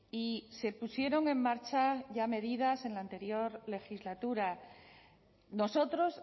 y se pusieron en marcha ya medidas en la anterior legislatura nosotros